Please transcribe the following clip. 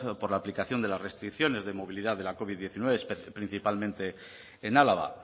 por la aplicación de las restricciones de movilidad de la covid diecinueve principalmente en álava